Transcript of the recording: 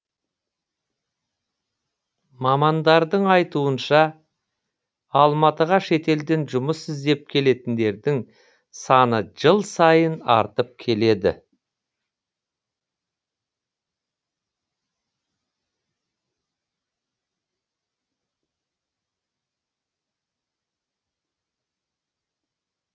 мамандардың айтуынша алматыға шетелден жұмыс іздеп келетіндердің саны жыл сайын артып келеді